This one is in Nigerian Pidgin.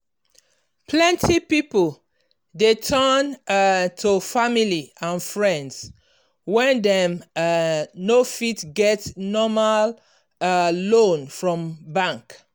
plenty people dey turn um to family and friends when dem um no fit get normal um loan from bank.